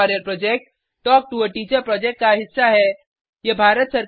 spoken tutorial project talk to a teacher project का हिस्सा है